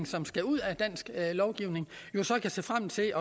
som skal ud af dansk lovgivning jo kan se frem til